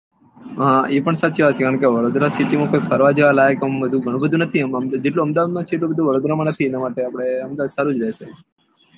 હા એ પણ સાચી વાત કારણ કે વડોદરા city માં ફરવા જેવા લાયક આવું ગણું બધુ નથી જેટલું અહેમદાબાદ માં છે એટલું વડોદરા માં નથી એના માટે આપડે અહેમદાબાદ સારું રેહશે